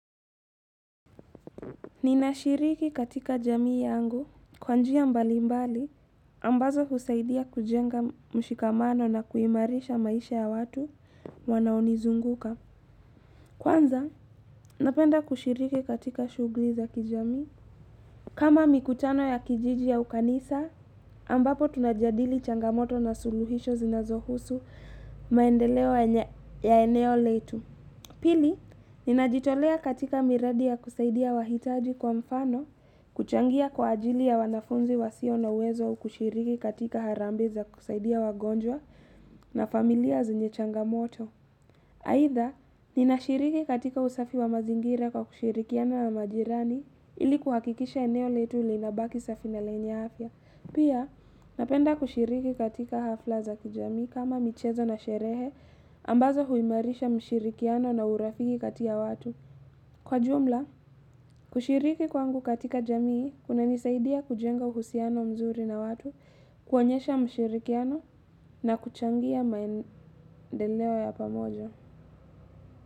Ninashiriki katika jamii yangu kwa njia mbalimbali ambazo husaidia kujenga mshikamano na kuimarisha maisha ya watu wanaonizunguka. Kwanza napenda kushiriki katika shughuli za kijamii. Kama mikutano ya kijiji au kanisa ambapo tunajadili changamoto na suluhisho zinazohusu maendeleo ya eneo letu. Pili, ninajitolea katika miradi ya kusaidia wahitaji kwa mfano, kuchangia kwa ajili ya wanafunzi wasio na uwezo kushiriki katika harambee za kusaidia wagonjwa na familia zenye changamoto. Aidha, nina shiriki katika usafi wa mazingira kwa kushirikiana na majirani ili kuhakikisha eneo letu lina baki safi na lenya afya. Pia, napenda kushiriki katika hafla za kijamii kama michezo na sherehe ambazo huimarisha mshirikiano na urafiki kati ya watu. Kwa jumla, kushiriki kwangu katika jamii kuna nisaidia kujenga uhusiano mzuri na watu, kuonyesha mshirikiano na kuchangia maendeleo ya pamoja.